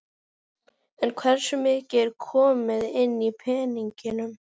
En hversu mikið er komið inn í peningum?